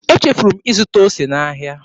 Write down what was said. Echefuru m ịzụta ose n'ahịa.